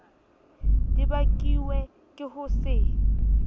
di bakuwe ke ho se